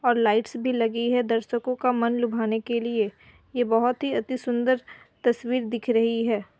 और लाईट्स भी लगी है दर्शको का मन लुभाने के लिए ये बहुत ही अति सुंदर तस्वीर दिख रही है।